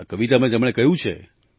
આ કવિતામાં તેમણે કહ્યું છે